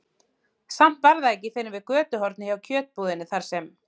Samt var það ekki fyrr en við götuhornið hjá kjötbúðinni, þar sem